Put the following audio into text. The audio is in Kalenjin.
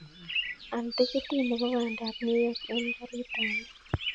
Al tikitit nebo bandab new york en karit ab maat